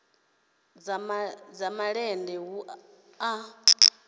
dza malende hu a vha